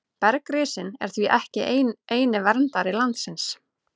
Bergrisinn er því ekki eini verndari landsins.